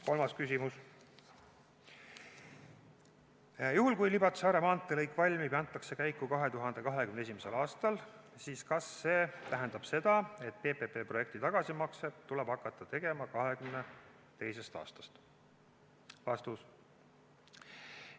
Kolmas küsimus: "Juhul kui Libatse–Are maanteelõik valmib ja antakse käiku 2021. aastal, siis kas see tähendab seda, et PPP projekti tagasimakseid tuleb hakata tegema 2022. aastast?